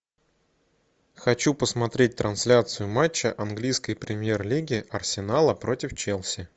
хочу посмотреть трансляцию матча английской премьер лиги арсенала против челси